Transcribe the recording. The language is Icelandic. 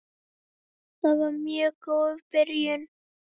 Það var mjög góð byrjun.